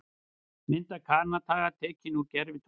Mynd af Kanada tekin úr gervitungli.